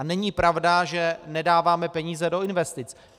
A není pravda, že nedáváme peníze do investic.